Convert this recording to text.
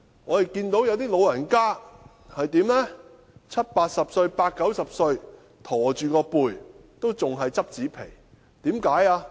我亦看到一些長者即使已年屆七八十歲或八九十歲又駝背，仍要撿拾紙皮。